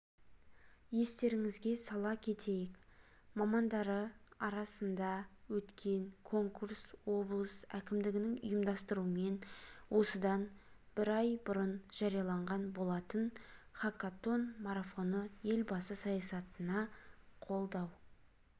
естеріңізге сала кетейік мамандары арасында өткен конкурс облыс әкімдігінің ұйымдастыруымен осыдан бір ай бұрын жарияланған болатын хакатон марафоны елбасы саясатын қолдау